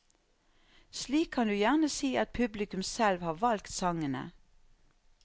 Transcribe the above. Slik kan du gjerne si at publikum selv har valgt sangene.